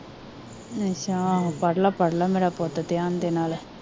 ਅੱਛਾ ਆਹੋ ਪੜਲਾ ਪੜਲਾ ਮੇਰਾ ਪੁੱਤ ਥਿਆਨ ਦੇ ਨਾਲ